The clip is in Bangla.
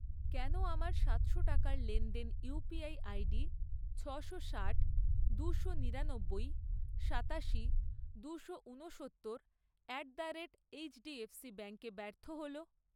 কেন আমার সাতশো টাকার লেনদেন ইউপিআই আইডি ছশো ষাট, দুশো নিরানব্বই, সাতাশি, দুশো উনসত্তর অ্যাট দ্য রেট এইচডিএফসি ব্যাঙ্কে ব্যর্থ হল?